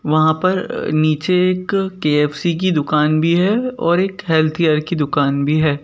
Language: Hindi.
वहाँ पर अ नीचे एक के_एफ_सी की दुकान भी है और एक हेल्थ केयर की दुकान भी है।